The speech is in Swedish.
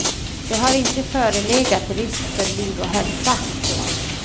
Det har inte förelegat risk för liv och hälsa. punkt